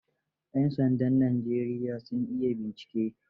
Yan sandan Najeriya sun iya bincike.